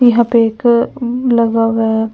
यहाँ पे एक लगव हैं ।